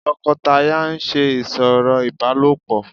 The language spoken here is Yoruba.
tọkọtaya ń ṣe ìsọ̀rọ̀ ibálopọ